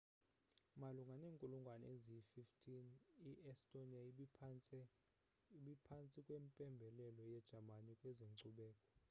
malunga nenkulungwane ye-15 i-estonia ibiphantsi kwempembelelo yejamani kwezenkcubeko